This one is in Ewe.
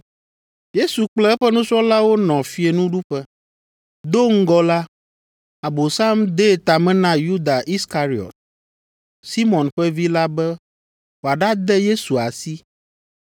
Yesu kple eƒe nusrɔ̃lawo nɔ fiẽnuɖuƒe. Do ŋgɔ la, Abosam dee ta me na Yuda Iskariɔt, Simɔn ƒe vi la be wòaɖade Yesu asi.